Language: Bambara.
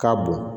K'a bon